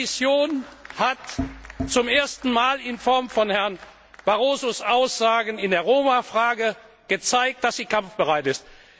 Die Kommission hat zum ersten Mal in Form von Herrn Barrosos Aussagen in der Roma Frage gezeigt, dass sie kampfbereit ist.